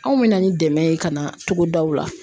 Anw bɛna ni dɛmɛ ye ka na togodaw la